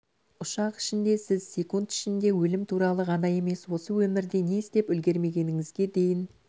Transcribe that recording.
ұшақ ішінде сіз секунд ішінде өлім туралы ғана емес осы өмірде не істеп үлгермегеніңізге дейін